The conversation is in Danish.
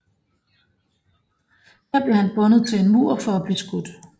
Her bliver han bundet til en mur for at blive skudt